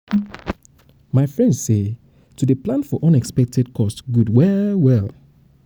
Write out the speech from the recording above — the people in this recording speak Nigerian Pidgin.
my friend say to dey plan for unexpected cost good well well um